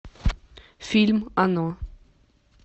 фильм оно